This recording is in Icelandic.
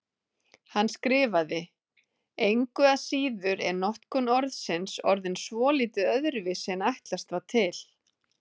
Hann skrifaði: Engu að síður er notkun orðsins orðin svolítið öðruvísi en ætlast var til.